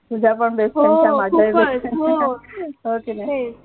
तुझा पण best friend च च्या माझ्या हि best friend हो कि नाय